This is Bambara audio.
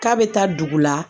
K'a bɛ taa dugu la